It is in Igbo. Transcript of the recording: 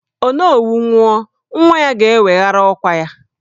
Onowu nwụọ, nwa ya ga-eweghara ọkwà ya